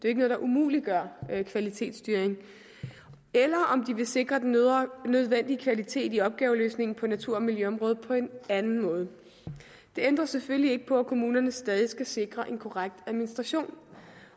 er noget der umuliggør kvalitetsstyring eller om de vil sikre den nødvendige kvalitet i opgaveløsningen på natur og miljøområdet på en anden måde det ændrer selvfølgelig ikke på at kommunerne stadig skal sikre en korrekt administration